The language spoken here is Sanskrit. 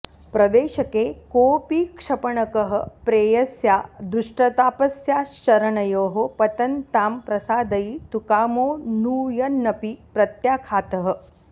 प्रवेशके कोऽपि क्षपणकः प्रेयस्या दुष्टतापस्याश्चरणयोः पतन् तां प्रसादयितुकामोऽनुयन्नपि प्रत्याख्यातः